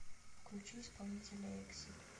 включи исполнителя эксид